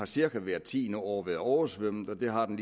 cirka hvert tiende år har været oversvømmet at det har den